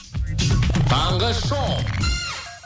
таңғы шоу